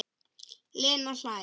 Lena hlær.